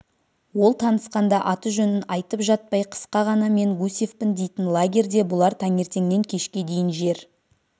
ол танысқанда аты-жөнін айтып жатпай қысқа ғана мен гусевпін дейтін лагерьде бұлар таңертеңнен кешке дейін жер